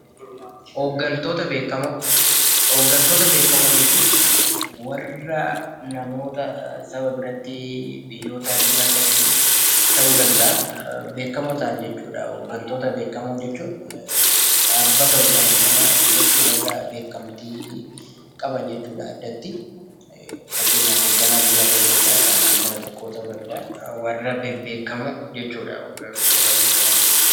Hooggantoota beekkamoo, hooggantoota beekkamoo jechuun warra namoota saba birattii, biyyoota addunyaa birattii ta'uu danda'aa beekkamoo ta'an jechuudha. Hooggantoota beekkamoo jechuun dhaabbata hoogganan sana keessatti warra beekkamtii qaban jechuudha addattii. Fakkeenyaaf hoogganaa biyyaa ta'uu danda'aa ,kan dhaabbata tokkoo ta'uu danda'aa warra bebbeekkamoo jechuudha hooggantoota beekkamoo jechuun.